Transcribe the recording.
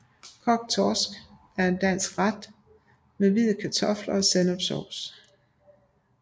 Kogt torsk er en dansk ret af torsk med hvide kartofler og sennepssovs